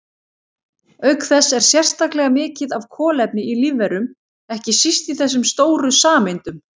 Auk þess er sérstaklega mikið af kolefni í lífverum, ekki síst í þessum stóru sameindum.